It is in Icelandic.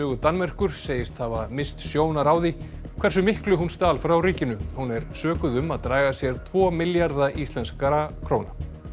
Danmerkur segist hafa misst sjónar á því hversu miklu hún stal frá ríkinu hún er sökuð um að draga sér tvo milljarða íslenskra króna